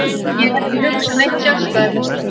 Ég er ekki að hugsa neitt sérstakt.